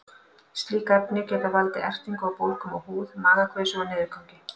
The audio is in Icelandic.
Slík efni geta valdið ertingu og bólgum á húð, magakveisu og niðurgangi.